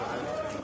Bura.